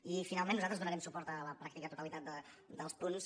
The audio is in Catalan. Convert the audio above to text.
i finalment nosaltres donarem suport a la pràctica totalitat dels punts